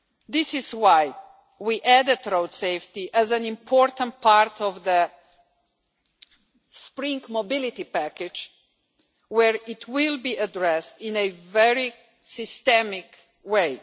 This is why we added road safety as an important part of the Spring mobility package, where it will be addressed in a very systemic